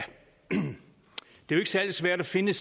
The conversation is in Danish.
det er særlig svært at finde